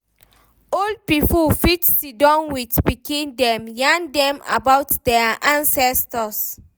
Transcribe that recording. Old pipo fit sidon with pikin dem, yarn dem about their ancestors